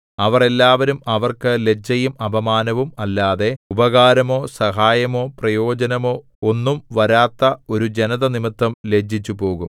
അവർ എല്ലാവരും അവർക്ക് ലജ്ജയും അപമാനവും അല്ലാതെ ഉപകാരമോ സഹായമോ പ്രയോജനമോ ഒന്നും വരാത്ത ഒരു ജനത നിമിത്തം ലജ്ജിച്ചുപോകും